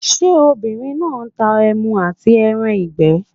Ṣé obìnrin náà n ta ẹmu àti ẹran ìgbẹ́?